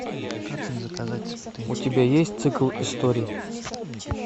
у тебя есть цикл историй